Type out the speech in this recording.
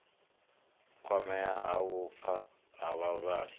kwamea ha vhupfa ha vhavhali